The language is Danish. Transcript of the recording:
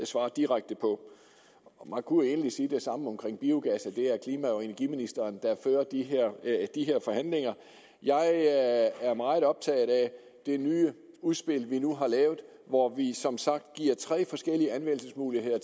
svare direkte på man kunne egentlig sige det samme om biogas er klima og energiministeren der fører de forhandlinger jeg er meget optaget af det nye udspil vi nu har lavet hvor vi som sagt giver tre forskellige anvendelsesmuligheder